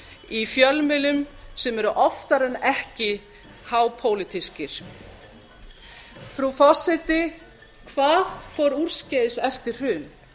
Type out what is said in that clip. í fjölmiðlum sem eru oftar en ekki hápólitískir frú forseti hvað fór úrskeiðis eftir hrun